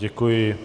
Děkuji.